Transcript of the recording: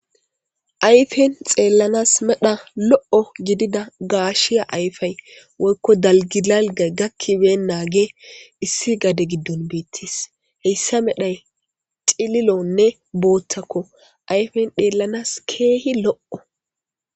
Ayfen xeellanas medha lo7o gidida gaashiya ayfay woykko dalgidalgay gakkiben naagee issi gade giddun beettis heyssa medhay cililonne booththakko ayfen dheellanas keehi lo'o.